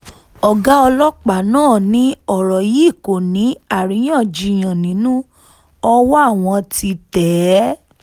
ọ̀gá ọlọ́pàá náà ni ọ̀rọ̀ yìí kò ní àríyànjijàn nínú ọwọ́ àwọn ti tẹ̀ ẹ́